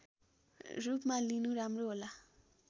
रूपमा लिनु राम्रो होला